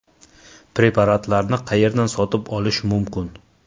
Preparatlarni qayerdan sotib olish mumkin?